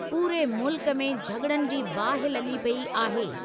पूरे मुल्क में झग॒ड़नि जी बाहि लगी॒ पेई आहे।